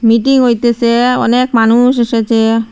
Meeting হইতেসে অনেক মানুষ এসেছে।